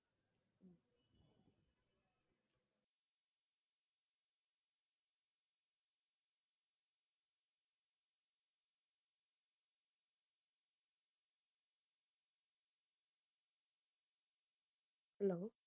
hello